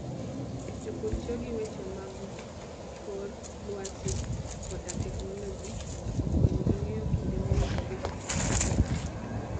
Jopur tiyo gi weche mag kor lwasi koda teknoloji mondo okonygi ng'eyo kinde mowinjore gi pidho cham.